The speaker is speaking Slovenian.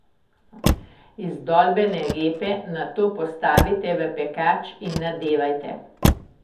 Izdolbene repe nato postavite v pekač in nadevajte.